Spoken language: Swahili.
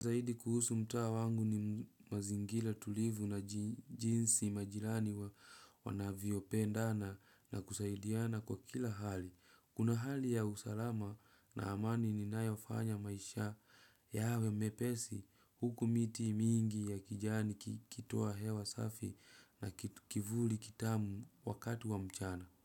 Zaidi kuhusu mta wangu ni mazingira tulivu na jinsi majirani wa wanavyopendana na kusaidiana kwa kila hali. Kuna hali ya usalama na amani ninayofanya maisha yawe mepesi huku miti mingi ya kijani kitoa hewa safi na kivuli kitamu wakati wa mchana.